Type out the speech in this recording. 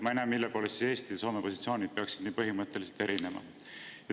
Ma ei näe, mille poolest Eesti ja Soome positsioonid peaksid nii põhimõtteliselt erinema.